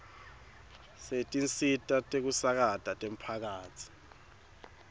setinsita tekusakata temphakatsi